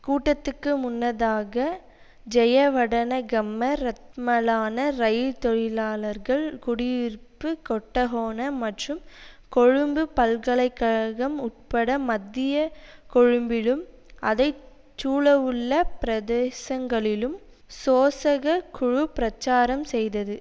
கூட்டத்துக்கு முன்னதாக ஜயவடனகம்ம ரத்மலான ரயில் தொழிலாளர்கள் குடியிருப்பு கொட்டஹோன மற்றும் கொழும்பு பல்கலை கழகம் உட்பட மத்திய கொழும்பிலும் அதை சூழவுள்ள பிரதேசங்களிலும் சோசக குழு பிரச்சாரம் செய்தது